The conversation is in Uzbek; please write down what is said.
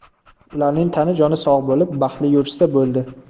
Ularning tani-joni sog‘ bo‘lib, baxtli yurishsa bo‘ldi.